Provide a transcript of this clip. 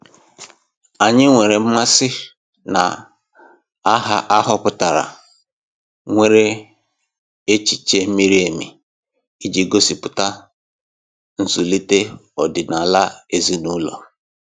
Anyị nwere mmasị na aha ahọpụtara nwere echiche miri emi iji gosipụta nzulite ọdịnala ezinaụlọ.